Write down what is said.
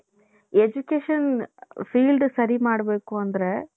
education field ಸರಿ ಮಾಡ್ಬೇಕು ಅಂದ್ರೆ .